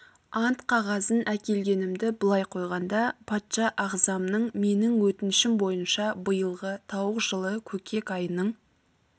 ант қағазын әкелгенімді былай қойғанда патша ағзамның менің өтінішім бойынша биылғы тауық жылы көкек айының